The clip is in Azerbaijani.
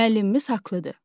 Müəllimimiz haqlıdır.